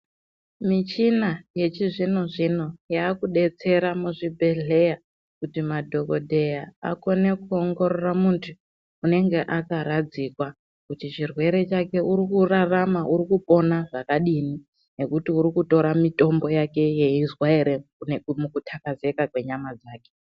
Michina yechizvino zvino yekudetsera muzvibhedhleya kuti madhokoteya akone kuongorora muntu unenge akaradzikwa kuti chirwere chake urikurarama urikupona zvakadini nekuti urikutora mutombo yake yeizwa ere kutakazeka kwenyama dzake.